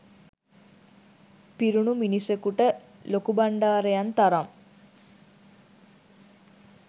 පිරුණු මිනිසකුට ලොකුබණ්ඩාරයන් තරම්